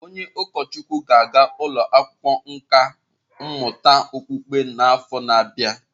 Onye ụkọchukwu ga-aga ụlọ akwụkwọ nkà mmụta okpukpe n'afọ na-abịa.